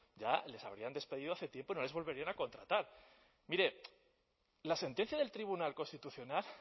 ya les habrían despedido hace tiempo y no les volverían a contratar mire la sentencia del tribunal constitucional